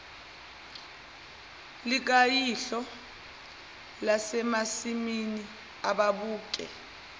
likayihlo lasemasimini ababuke